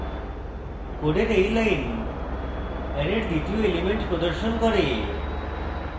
code এই line অ্যারের দ্বিতীয় element প্রদর্শন করে